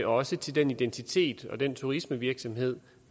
også til den identitet og den turistvirksomhed